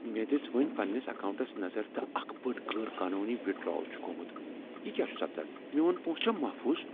مےٚ دژ وٕنی پنٛنس اکاونٛٹس نظر تہٕ اکھ بٔڑ، غیر قانونی وِدڈرٛاول چھ گوٚمت۔ یہ کیٛاہ چھ سپدان؟ میون پونٛسہٕ چھا محفوظ؟